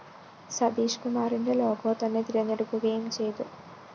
സതീഷ്‌കുമാറിന്റെ logo തന്നെ തെരഞ്ഞെടുക്കുകയും ചെയ്തു